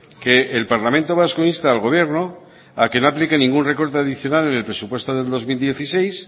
que el parlamento vasco insta al gobierno a que no aplique ningún recorte adicional en el presupuesto del dos mil dieciséis